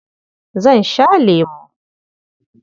Zan sha lemo.